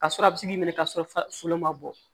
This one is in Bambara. Ka sɔrɔ a bɛ se k'i minɛ k'a sɔrɔ falo ma bɔ